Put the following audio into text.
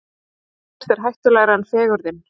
Ekkert er hættulegra en fegurðin.